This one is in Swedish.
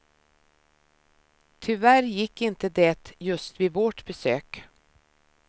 Tyvärr gick inte det just vid vårt besök.